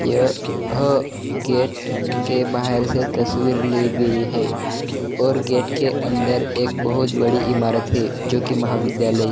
य ह गेट के बाहर से तस्वीर ली गई है और गेट के अंदर एक बहुत बड़ी ईमारत है जो की महाविद्यालय--